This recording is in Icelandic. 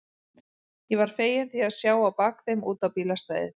Ég var feginn því að sjá á bak þeim út á bílastæðið.